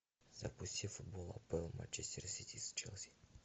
запусти футбол апл манчестер сити с челси